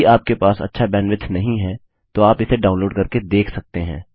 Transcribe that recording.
यदि आपके पास अच्छा बैंडविड्थ नहीं है तो आप इसे डाउनलोड करके देख सकते हैं